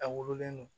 A wololen